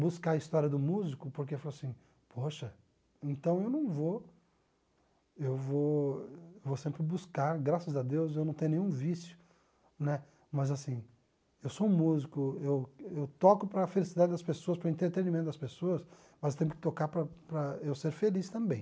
buscar a história do músico, porque eu falo assim, poxa, então eu não vou, eu vou vou sempre buscar, graças a Deus eu não tenho nenhum vício, né, mas assim, eu sou um músico, eu toco para a felicidade das pessoas, para o entretenimento das pessoas, mas eu tenho que tocar para para eu ser feliz também.